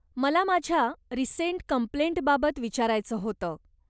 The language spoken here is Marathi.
मला माझ्या रिसेंट कम्प्लेंटबाबत विचारायचं होतं.